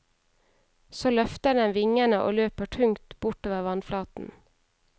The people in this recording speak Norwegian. Så løfter den vingene og løper tungt bortover vannflaten.